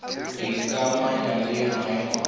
go ikamanya le maemo a